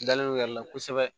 Dalen yɛrɛ la kosɛbɛ